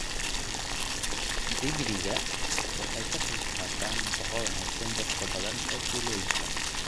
Digiriga waxay ka qaybqaataan nafaqo wanaagsan dadka badan ee tuulooyinka.